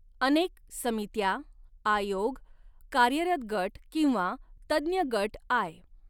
अनेक समित्या, आयोग, कार्यरत गट किंवा तज्ञगट आय.